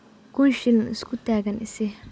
Kuun shilin iskutagan isii.